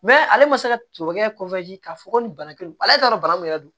ale ma se ka tɔnɔ kɛ k'a fɔ ko nin bana kelen ale t'a dɔn bana min yɛrɛ don